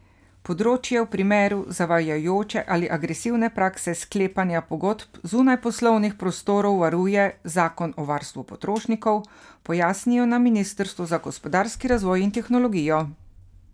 Področje v primeru zavajajoče ali agresivne prakse sklepanja pogodb zunaj poslovnih prostorov varuje zakon o varstvu potrošnikov, pojasnijo na ministrstvu za gospodarski razvoj in tehnologijo.